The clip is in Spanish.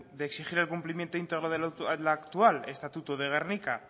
de exigir el cumplimiento íntegro del actual estatuto de gernika